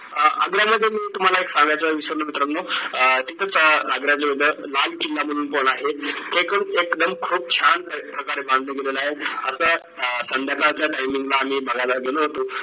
आग्र्यामध्ये मी तुम्हाला एक सांगायचं विसरलो मित्रांनो अह तिथंच अं आग्रा जवळ लाल किल्ला म्हणून पण आहे एक एकदम खूप छान प्रकारे बांधलं गेलेलं आहे. असं संध्याकाळच्या timing ला आम्ही बघायला गेलो होतो